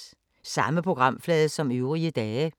Samme programflade som øvrige dage